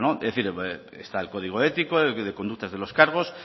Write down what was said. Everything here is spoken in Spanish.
es decir está el código ético conductas de los cargos